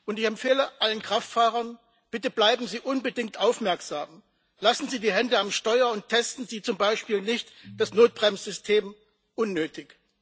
Ich empfehle allen Kraftfahrern Bitte bleiben Sie unbedingt aufmerksam, lassen Sie die Hände am Steuer und testen Sie zum Beispiel das Notbremssystem nicht unnötig.